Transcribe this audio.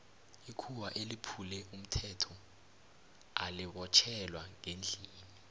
ikhuwa eliphule umthetho lali botjhelwa ngendlini